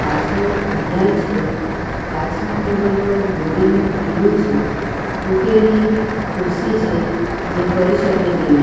પાછળ ઘડિયાલ છે કાચના ટેબલ પર દોરીનું પીલુ છે તૂટેલી ખુરશી છે જે ફરી શકે તેવી છે.